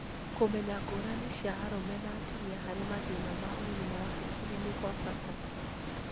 Kũmenya ngũrani cia arũme na atumia harĩ mathĩna ma ũgima wa hakiri nĩ kwa bata